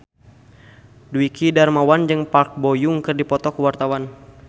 Dwiki Darmawan jeung Park Bo Yung keur dipoto ku wartawan